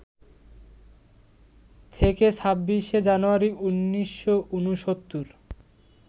থেকে ২৬শে জানুয়ারি, ১৯৬৯